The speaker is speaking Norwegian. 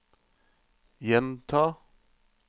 gjenta